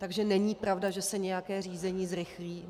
Takže není pravda, že se nějaké řízení zrychlí.